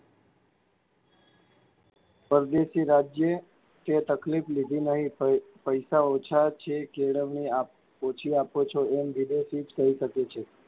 પરદેશી રાજ્યે કે તકલીફ લીધે નહીં પૈ~પૈસા ઓછાં છે, કેળવણી ઓછી આપો છો, એમ વિદેશી જ કહી શકે છે.